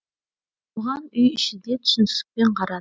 оған үй іші де түсіністікпен қарады